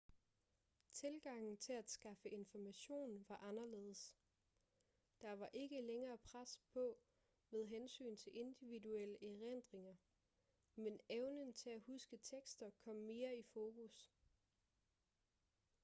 tilgangen til at skaffe information var anderledes der var ikke længere pres på med hensyn til individuelle erindringer men evnen til at huske tekster kom mere i fokus